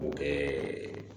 K'o kɛɛ